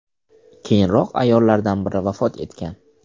Keyinroq ayollardan biri vafot etgan.